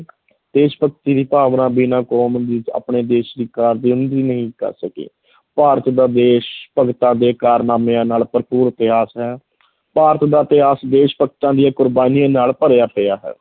ਦੇਸ਼ ਭਗਤੀ ਦੀ ਭਾਵਨਾ ਬਿਨਾਂ ਕੌਮ ਦੇ ਵਿੱਚ ਆਪਣੇ ਦੇਸ਼ ਦੀ ਨਹੀਂ ਕਰ ਸਕੇ ਭਾਰਤ ਦਾ ਦੇਸ਼ ਭਗਤਾਂ ਦੇ ਕਾਰਨਾਮਿਆਂ ਨਾਲ ਭਰਪੂਰ ਇਤਿਹਾਸ ਹੈ ਭਾਰਤ ਦਾ ਇਤਿਹਾਸ ਦੇਸ਼ ਭਗਤਾਂ ਦੀਆਂ ਕੁਰਬਾਨੀਆਂ ਨਾਲ ਭਰਿਆ ਪਿਆ ਹੈ।